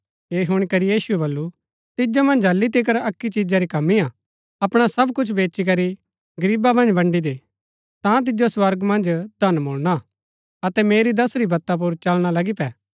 ऐह हूणी करी यीशुऐ वलु तिजो मन्ज हालि तिकर अक्की चिजा री कमी हा अपणा सब कुछ बेचीकरी गरीबा मन्ज बन्ड़ी दे ता तिजो स्वर्गा मन्ज धन मुळणा अतै मेरी दसुरी वत्ता पुर चलना लगी पै